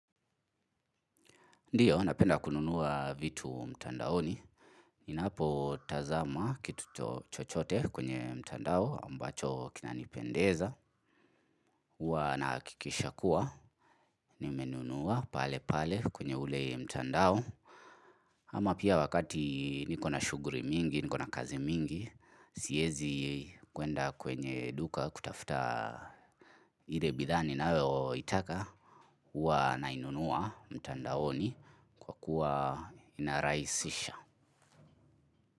Ndiyo, napenda kununua vitu mtandaoni. Ninapotazama kitu chcohote kwenye mtandao ambacho kinanipendeza huwa nahakikisha kuwa nimenunua pale pale kwenye ule mtandao. Ama pia wakati niko na shuguhuli mingi, niko na kazi mingi. Siezi kwenda kwenye duka kutafuta ile bidhaa ninayo itaka. Huwa nainunua mtandaoni kwa kuwa inaraisisha.